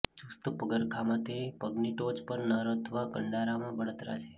ચુસ્ત પગરખાંમાંથી પગની ટોચ પર નર અથવા કંડરામાં બળતરા છે